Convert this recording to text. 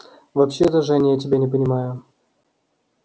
вообще-то жень я тебя не понимаю